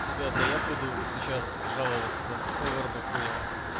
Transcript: ребята я буду сейчас жаловаться овердохуя